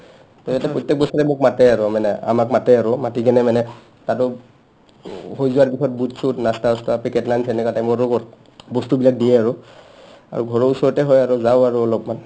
to ইহতে প্ৰত্যেক বছৰে মোক মাতে আৰু মানে আমাক মাতে আৰু মাতি কিনে মানে আৰু হৈ যোৱাৰ পিছত বুট-চুট নাস্তা-চাস্তা পেকেট lunch এনেকা time ত বস্তুবিলাক দিয়ে আৰু আৰু ঘৰৰ ওচৰতে হয় যাওঁ আৰু অলপমান